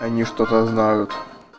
они что-то знают